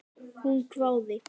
Hún hváði.